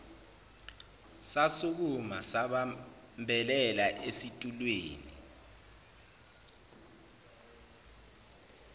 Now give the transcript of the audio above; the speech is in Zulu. sasukuma sabambelela esitulweni